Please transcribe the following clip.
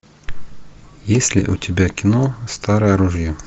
есть ли у тебя кино старое ружье